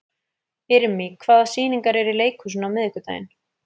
Irmý, hvaða sýningar eru í leikhúsinu á miðvikudaginn?